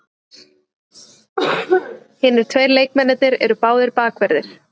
Hinir tveir leikmennirnir eru báðir bakverðir